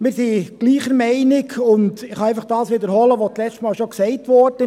Wir sind gleicher Meinung, und ich kann einfach das wiederholen, was letztes Mal bereits gesagt wurde: